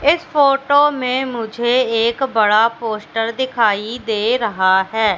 इस फोटो में मुझे एक बड़ा पोस्टर दिखाई दे रहा है।